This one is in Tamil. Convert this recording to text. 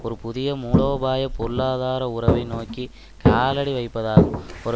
ஒரு புதிய மூலோபாய பொருளாதார உறவை நோக்கி காலடி வைப்பதாகும் ஒரு